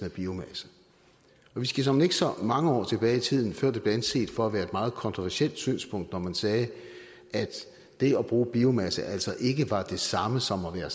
af biomasse vi skal såmænd ikke så mange år tilbage i tiden før det blev anset for at være et meget kontroversielt synspunkt når man sagde at det at bruge biomasse altså ikke var det samme som at være